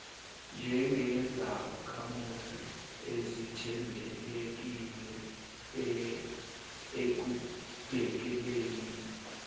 njengezakhamuzi ezithembekile ekubhekeleni